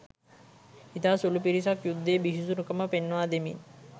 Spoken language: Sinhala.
ඉතා සුළු පිරිසක් යුද්ධයේ බිහිසුණුකම පෙන්වා දෙමින්